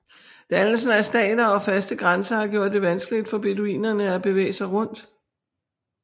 Dannelsen af stater og faste grænser har gjort det vanskeligt for beduinerne at bevæge sig rundt